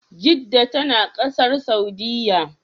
Jedda tana Ƙasar Saudiya